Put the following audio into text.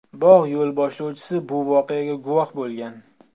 Bog‘ yo‘lboshlovchisi bu voqeaga guvoh bo‘lgan.